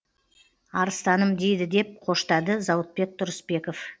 арыстаным дейді деп қоштады зауытбек тұрысбеков